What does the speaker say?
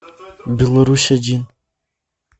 беларусь один